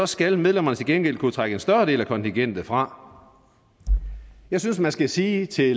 skal medlemmerne til gengæld kunne trække en større del af kontingentet fra jeg synes man skal sige til